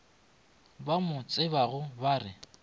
ba mo tsebago ba re